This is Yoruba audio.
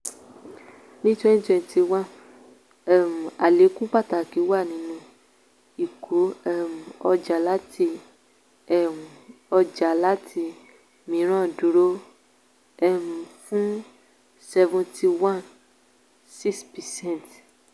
ní twenty twenty one um àlékún pàtàkì wà nínú ìkó um ọjà láti um ọjà láti mìíràn dúró um fún seventy one point six percent.